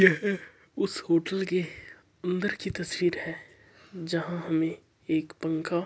ये एक उस होटल की अन्दर की तस्वीर है जहा हमें एक पंखा--